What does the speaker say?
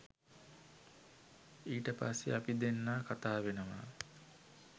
ඊට පස්සේ අපි දෙන්නා කතා වෙනවා